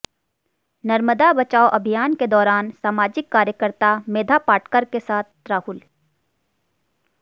नर्मदा बचाओ अभियान के दौरान सामाजिक कार्यकर्ता मेधा पाटकर के साथ राहुल